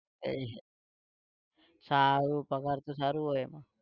એય સારું પગાર તો સારું હોય એમાં